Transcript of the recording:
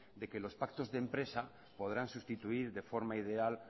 de que los pactos de empresas podrán sustituir de forma ideal